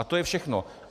A to je všechno.